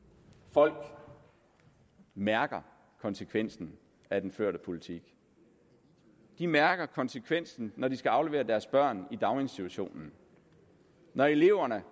folk mærker konsekvensen af den førte politik de mærker konsekvensen når de skal aflevere deres børn i daginstitutionen når eleverne